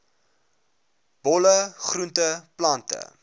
bolle groente plante